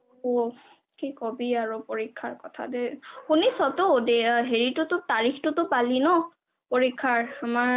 কি কবি আৰু পৰীক্ষাৰ কথা দেই সুনিছটো তাৰিখটো পালি ন পৰীক্ষাৰ আমাৰ